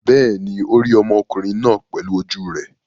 Bẹ́ẹ̀ ni, ó rí ọmọkùnrin náà pẹ̀lú ojú rẹ̀.